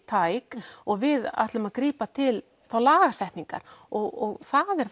tæk og við ætlum að grípa til lagasetningar og það er